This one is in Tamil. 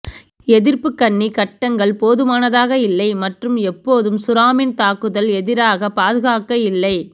எதிர்ப்பு கண்ணி கட்டங்கள் போதுமானதாக இல்லை மற்றும் எப்போதும் சுறாமீன் தாக்குதல் எதிராக பாதுகாக்க இல்லை